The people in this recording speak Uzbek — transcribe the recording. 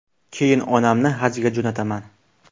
Keyin onamni hajga jo‘nataman.